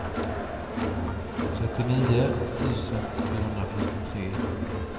trettionio tusen sjuhundrafyrtiotre